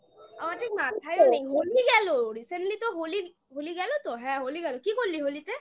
আমার ঠিক মাথায় নেই হোলি গেল recently তো হোলি হোলি গেল তো? হ্যাঁ হোলি গেল কি করলি হোলিতে?